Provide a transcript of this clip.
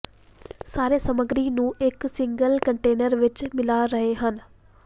ਸਾਰੇ ਸਮੱਗਰੀ ਨੂੰ ਇੱਕ ਸਿੰਗਲ ਕੰਟੇਨਰ ਵਿੱਚ ਮਿਲਾ ਰਹੇ ਹਨ